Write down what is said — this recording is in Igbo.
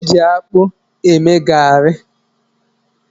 Ude ji akpụ eme garị